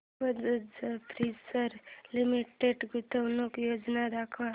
Bajaj Finserv limited गुंतवणूक योजना दाखव